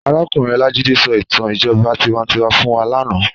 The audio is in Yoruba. Àrákúnrín Olajide sò itàn ijòbá tiwántiwá fún wá làná